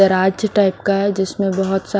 दराज टाइप का है जिसमें बहुत सा--